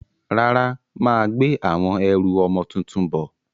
Rárá, mà á gbé àwọn ẹrù ọmọ tuntun bọ̀.